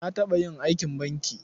Na taɓa yin aikin banki.